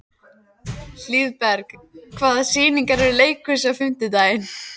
Hlíðberg, hvaða sýningar eru í leikhúsinu á fimmtudaginn?